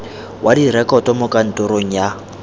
wa direkoto mo kantorong ya